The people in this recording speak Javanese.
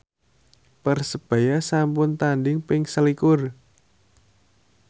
Persebaya sampun tandhing ping selikur